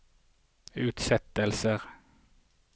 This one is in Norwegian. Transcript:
utsettelser